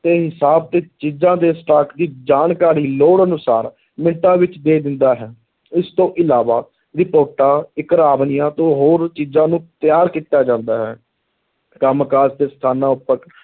ਦੇ ਹਿਸਾਬ ਤੇ ਚੀਜ਼ਾਂ ਦੇ stock ਦੀ ਜਾਣਕਾਰੀ ਲੋੜ ਅਨੁਸਾਰ ਮਿੰਟਾਂ ਵਿੱਚ ਦੇ ਦਿੰਦਾ ਹੈ, ਇਸ ਤੋਂ ਇਲਾਵਾ ਰਿਪੋਰਟਾਂ ਤੋਂ ਹੋਰ ਚੀਜ਼ਾਂ ਨੂੰ ਤਿਆਰ ਕੀਤਾ ਜਾਂਦਾ ਹੈ, ਕੰਮ ਕਾਰ ਦੇ ਸਥਾਨਾਂ ਉੱਪਰ